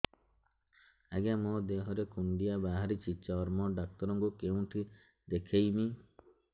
ଆଜ୍ଞା ମୋ ଦେହ ରେ କୁଣ୍ଡିଆ ବାହାରିଛି ଚର୍ମ ଡାକ୍ତର ଙ୍କୁ କେଉଁଠି ଦେଖେଇମି